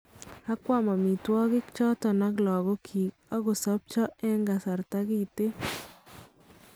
Akwam omitwokik choton ak lagokyik akosobcho eng kasarta kiten.